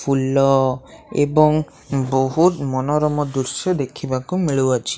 ଫୁଲ ଏବଂ ବହୁତ ମନୋରମ ଦୃଶ୍ୟ ଦେଖିବାକୁ ମିଳୁ ଅଛି।